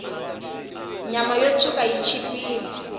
nyama yo tshwuka yi chipile